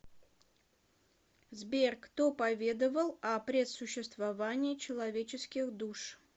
сбер кто поведовал о предсуществовании человеческих душ